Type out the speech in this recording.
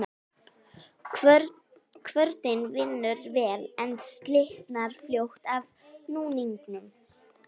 Kvörnin vinnur vel, en slitnar fljótt af núningnum.